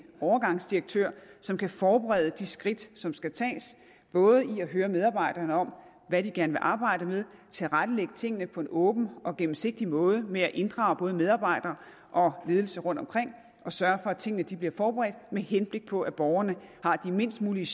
overgangsdirektør som kan forberede de skridt som skal tages både i at høre medarbejderne om hvad de gerne vil arbejde med tilrettelægge tingene på en åben og gennemsigtig måde med at inddrage både medarbejdere og ledelse rundtomkring og sørge for at tingene bliver forberedt med henblik på at borgerne har de mindst mulige